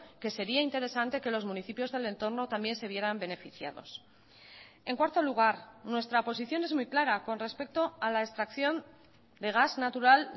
que sería interesante que los municipios del entorno también se vieran beneficiados en cuarto lugar nuestra posición es muy clara con respecto a la extracción de gas natural